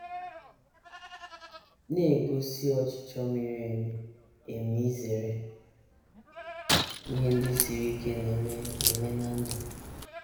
na - egosi ọchịchọ miri emi emi izere ihe ndị siri ike na - eme eme ná ndụ.